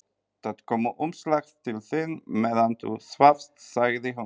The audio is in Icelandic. Það kom umslag til þín meðan þú svafst, sagði hún.